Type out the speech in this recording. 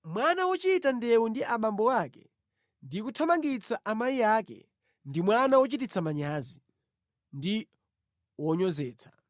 Mwana wochita ndewu ndi abambo ake ndi kuthamangitsa amayi ake, ndi mwana wochititsa manyazi ndi wonyozetsa.